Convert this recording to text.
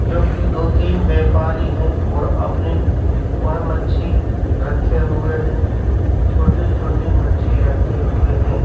जो कि दो तीन व्यापारी हैं और अपनी वह मच्छी रखे हुए हैं छोटी छोटी मच्छी रखे हुए हैं।